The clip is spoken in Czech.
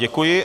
Děkuji.